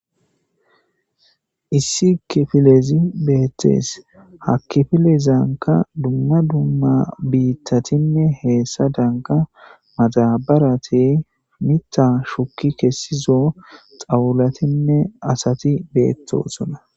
Issi kifilezi bettes ha kifilezankka dumma dumma bittatin e biittadnkka madabarappe miiththa shukki kessizo zawulattinne miiththti bettosonna